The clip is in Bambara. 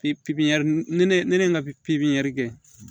Pipiniyɛri ni ne ka pipiniyiniyɛri kɛ